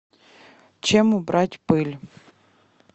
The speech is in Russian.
чем убрать пыль